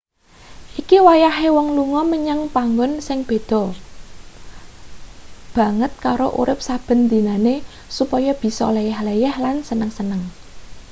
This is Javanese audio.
iki wayahe wong lunga menyang panggon sing beda banget karo urip saben dinane supaya bisa leyeh-leyeh lan seneng-seneng